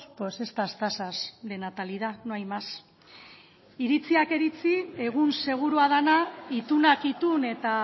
pues estas tasas de natalidad no hay más iritziak iritzi egun segurua dena itunak itun eta